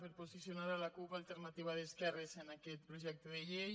per posicionar la cup alternativa d’esquerres en aquest projecte de llei